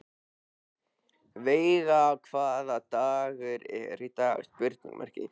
Veiga, hvaða dagur er í dag?